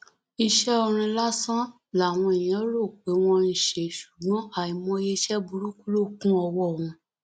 iṣẹ orin lásán làwọn èèyàn lérò pé wọn ń ṣe ṣùgbọn àìmọye iṣẹ burúkú ló kún ọwọ wọn